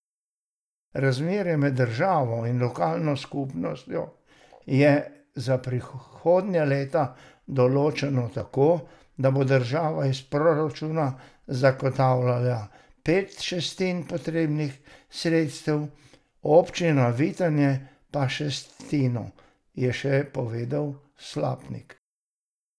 Razmerje med državo in lokalno skupnostjo je za prihodnja leta določeno tako, da bo država iz proračuna zagotavljala pet šestin potrebnih sredstev, občina Vitanje pa šestino, je še povedal Slapnik.